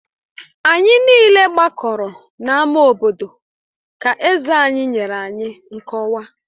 Anyị niile gbakọrọ n'ámá obodo ka eze anyị nyere anyị nkọwa